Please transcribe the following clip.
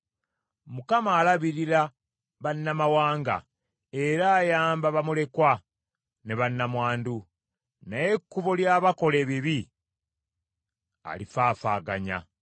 Mukama alabirira bannamawanga, era ayamba bamulekwa ne bannamwandu; naye ekkubo ly’abakola ebibi alifaafaaganya.